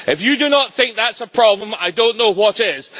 If you do not think that is a problem, I do not know what is.